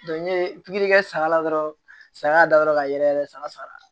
n ye pikiri kɛ saga la dɔrɔn saya y'a da yɔrɔ ka yɛlɛ san